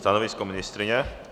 Stanovisko ministryně?